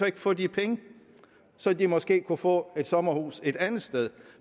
ikke få de penge så de måske kunne få et sommerhus et andet sted